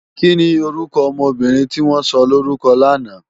Kini órúkò òmò óbìrín tiwòn sòlórúkò làná?